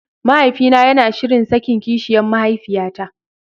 Mahaifina yana shirin sakin kishiyan mahaifiyata.